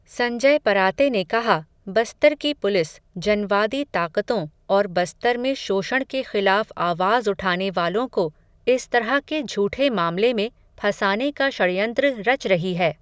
संजय पराते ने कहा, बस्तर की पुलिस, जनवादी ताक़तों और बस्तर में शोषण के ख़िलाफ़ आवाज़ उठाने वालों को, इस तरह के झूठे मामले में, फंसाने का षडयंत्र रच रही है.